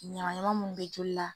Ɲaman ɲaman mun be joli la.